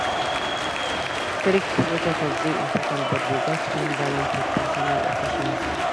Strict protocols dey important but we gats find balance with personal efficiency.